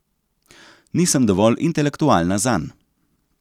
Nisem dovolj intelektualna zanj.